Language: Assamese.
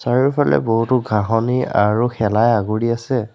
চাৰিওফালে বহুতো ঘাঁহনি আৰু শেলাই আগুৰি আছে।